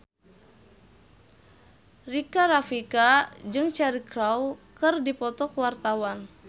Rika Rafika jeung Cheryl Crow keur dipoto ku wartawan